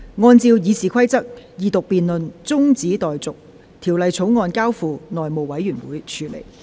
按照《議事規則》，二讀辯論中止待續，《條例草案》交付內務委員會處理。